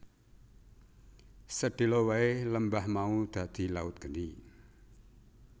Sedhela wae lembah mau dadi laut geni